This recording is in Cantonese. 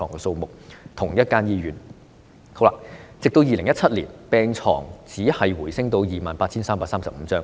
直至2017年，病床數目只是回升至 28,335 張。